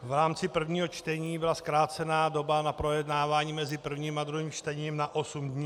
V rámci prvního čtení byla zkrácena doba na projednávání mezi prvním a druhým čtením na osm dní.